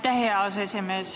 Aitäh, hea aseesimees!